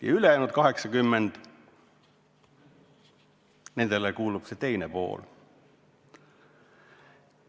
Ja ülejäänud 80% – nendele kuulub see teine pool.